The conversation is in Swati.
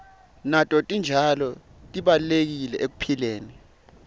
nato titjalo tibalulekile ekuphileni